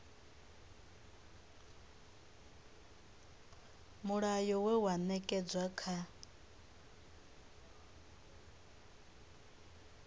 mulayo we wa ṅetshedzwa kha